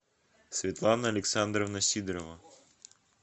светлана александровна сидорова